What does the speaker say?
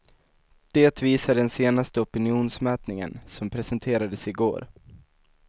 Det visar den senaste opinionsmätningen, som presenterades i går.